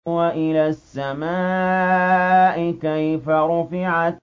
وَإِلَى السَّمَاءِ كَيْفَ رُفِعَتْ